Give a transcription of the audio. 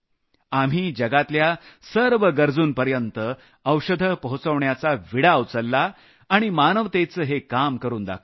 आम्ही जगातल्या सर्व गरजूंपर्यंत औषधं पोहचवण्याचा विडा उचलला आणि मानवतेचं हे काम करून दाखवलं